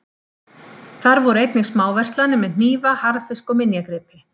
Þar voru einnig smáverslanir með hnífa, harðfisk, og minjagripi.